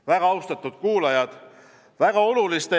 Väga austatud kuulajad!